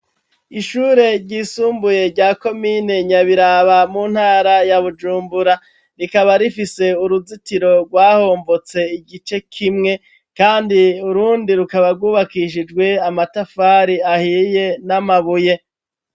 Ishure ryisumbuye, rya komine Nyabiraba, mu ntara ya Bujumbura; rikaba rifise uruzitiro rwahombotse igice kimwe, kandi urundi, rukaba rwubakishijwe amatafari ahiye n'amabuye.